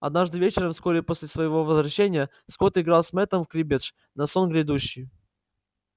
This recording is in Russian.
однажды вечером вскоре после своего возвращения скотт играл с мэттом в криббедж на сон грядущий